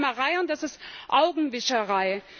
Das ist Träumerei, und das ist Augenwischerei.